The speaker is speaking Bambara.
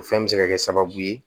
O fɛn bɛ se ka kɛ sababu ye